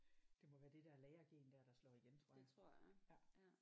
Det må være det der lærergen der slår igen tror jeg ja